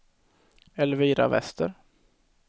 Elvira Wester